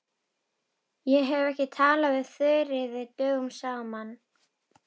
Ég hef ekki talað við Þuríði dögum saman.